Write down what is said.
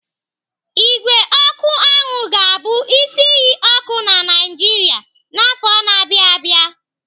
Ígwè ọkụ anwụ ga-abụ isi iyi ọkụ na Naijiria n'afọ na-abịa abịa.